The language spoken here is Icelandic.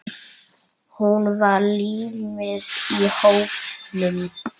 Hún var límið í hópnum.